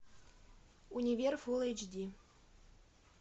универ фулл эйч ди